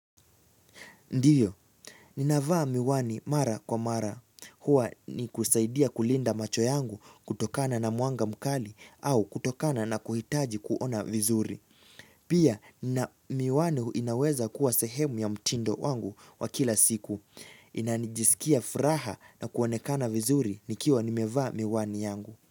Ndiyo, ninavaa miwani mara kwa mara. Hwa ni kusaidia kulinda macho yangu kutokana na muanga mkali au kutokana na kuhitaji kuona vizuri. Pia, miwani inaweza kuwa sehemu ya mtindo wangu wa kila siku. Inanijisikia furaha na kuonekana vizuri nikiwa nimevaa miwani yangu.